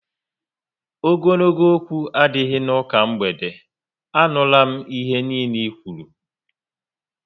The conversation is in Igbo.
Ogologo okwu adịghị n'ụka mgbede, a nụrụ m ihe nille i kwụrụ